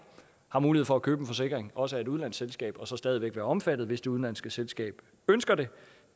har mulighed for at købe en forsikring også af et udenlandsk selskab og så stadig væk være omfattet hvis det udenlandske selskab ønsker det